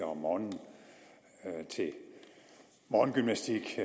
om morgenen til morgengymnastik